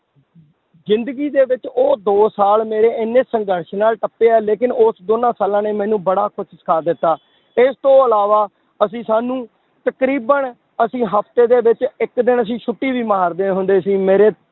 ਜ਼ਿੰਦਗੀ ਦੇ ਵਿੱਚ ਉਹ ਦੋ ਸਾਲ ਮੇਰੇ ਇੰਨੇ ਸੰਘਰਸ਼ ਨਾਲ ਟੱਪੇ ਆ ਲੇਕਿੰਨ ਉਸ ਦੋਨਾਂ ਸਾਲਾਂ ਨੇ ਮੈਨੂੰ ਬੜਾ ਕੁਛ ਸਿੱਖਾ ਦਿੱਤਾ, ਇਸ ਤੋਂ ਇਲਾਵਾ ਅਸੀਂ ਸਾਨੂੰ ਤਕਰੀਬਨ ਅਸੀਂ ਹਫ਼ਤੇ ਦੇ ਵਿੱਚ ਇੱਕ ਦਿਨ ਅਸੀਂ ਛੁੱਟੀ ਵੀ ਮਾਰਦੇ ਹੁੰਦੇ ਸੀ ਮੇਰੇ